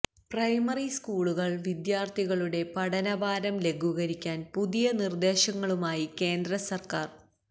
primary school വിദ്യാര്ഥികളുടെ പഠനഭാരം ലഘൂകരിക്കാന് പുതിയ നിര്ദ്ദേശങ്ങളുമായി കേന്ദ്ര സര്ക്കാര്